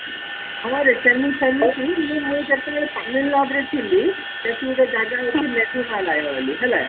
ହଁ ରେ ସେମିତି ମୁଁ ଯେତେବେଳେ ତାମିଲନାଡୁ ରେ ଥିଲି ସେଠି ଗୋଟେ ଜାଗା ମେଗୁର ମାଲୟ ଅଛି ବୋଲି ହେଲା